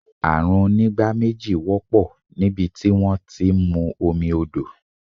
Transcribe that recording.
Àrùn onígbá méjì wọ́pọ̀ nibiti wón ti ń mú omi odò.